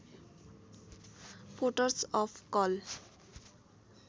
ports of call